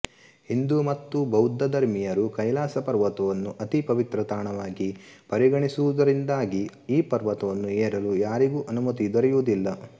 ಹಿಂದೂ ಮತ್ತು ಬೌದ್ಧ ಧರ್ಮೀಯರು ಕೈಲಾಸಪರ್ವತವನ್ನು ಅತಿ ಪವಿತ್ರ ತಾಣವಾಗಿ ಪರಿಗಣಿಸುವುದರಿಂದಾಗಿ ಈ ಪರ್ವತವನ್ನು ಏರಲು ಯಾರಿಗೂ ಅನುಮತಿ ದೊರೆಯುವುದಿಲ್ಲ